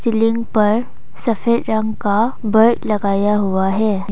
Ceiling पर सफेद रंग का बर्ड लगाया हुआ है।